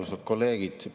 Austatud kolleegid!